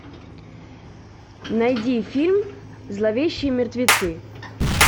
найди фильм зловещие мертвецы